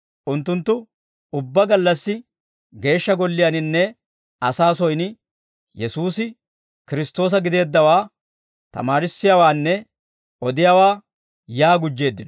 Unttunttu ubbaa gallassi Geeshsha Golliyaaninne asaa soyin Yesuusi, Kiristtoosa gideeddawaa tamaarissiyaawaanne odiyaawaa yaa gujjeeddino.